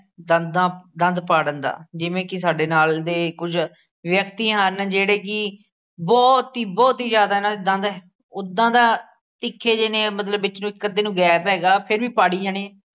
ਦੰਦਾਂ ਦੰਦ ਪਾੜਨ ਦਾ, ਜਿਵੇਂ ਕਿ ਸਾਡੇ ਨਾਲ ਦੇ ਕੁੱਝ ਵਿਅਕਤੀਆਂ ਹਨ ਜਿਹੜੇ ਕਿ ਬਹੁਤ ਹੀ ਬਹੁਤ ਹੀ ਜ਼ਿਆਦਾ ਇਹਨਾਂ ਦੇ ਦੰਦ ਉਦਾਂ ਤਾਂ ਤਿੱਖੇ ਜਿਹੇ ਨੇ ਮਤਲਬ ਵਿੱਚ ਕੁ ਇਕ ਅੱਧੇ ਨੂੰ gap ਹੈਗਾ ਫੇਰ ਵੀ ਪਾੜੇ ਜਾਣੇ ਨੇ